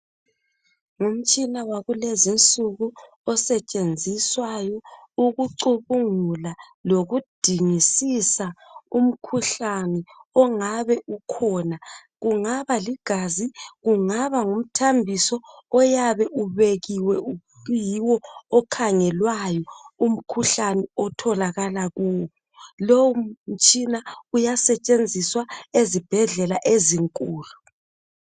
Ngumtshina wakulezi nsuku osetshenziswayo ukucubungula lokudingisiswa umkhuhlane ongaba ukhona kungaba ligazi kungaba ngumthambiso oyabe ubekiwe okuyiwo okhangelwayo umkhuhlane otholakala kuwo lowo mtshina uyasetshenziswa ezibhedlela ezinkulu.